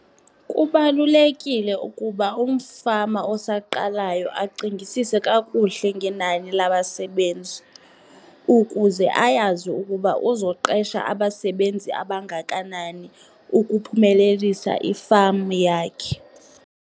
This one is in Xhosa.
Kubalulekile ukuba umfama osaqalayo acingisise kakuhle ngenani labasebenzi ukuze ayazi ukuba uzoqesha abasebenzi abangakanani ukuphumelelisa i-farm yakhe.